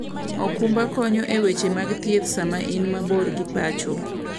okumba konyo e weche mag thieth sama in mabor gi pacho.